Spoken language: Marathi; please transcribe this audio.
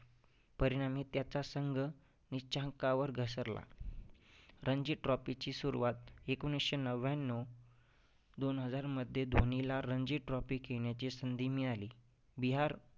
परिणामी त्याचा संघ नीच्यंकावर घसरला. रंजी trophy ची सुरुवात एकोणीसशे नव्याण्णव दोन हजारमध्ये धोनीला रंजी trophy खेळण्याची संधी मिळाली. बिहार